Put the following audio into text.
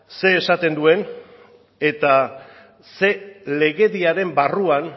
zer esaten duen eta zer legediaren barruan